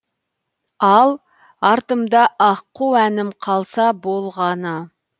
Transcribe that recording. ал артымда аққу әнім қалса болғаны